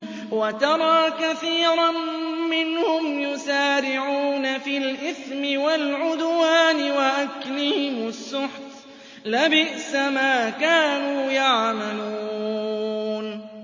وَتَرَىٰ كَثِيرًا مِّنْهُمْ يُسَارِعُونَ فِي الْإِثْمِ وَالْعُدْوَانِ وَأَكْلِهِمُ السُّحْتَ ۚ لَبِئْسَ مَا كَانُوا يَعْمَلُونَ